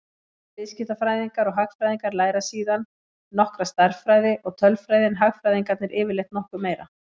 Bæði viðskiptafræðingar og hagfræðingar læra síðan nokkra stærðfræði og tölfræði en hagfræðingarnir yfirleitt nokkuð meira.